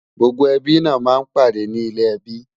gbógbó ẹbí nà má ń pàdé ní ilè ẹbí